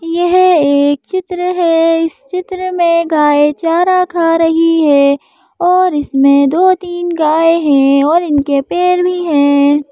यह एक चित्र है इस चित्र में गाय चारा खा रही हैऔर इसमें दो तीन गाय है और इनके पैर भी है।